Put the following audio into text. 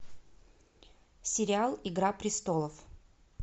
сериал игра престолов